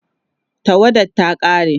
tawadar ta ƙare